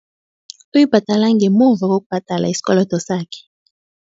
Uyibhadala ngemuva kokubhadala isikolodo sakhe.